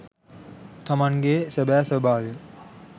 තමන් ගේ සැබෑ ස්වභාවය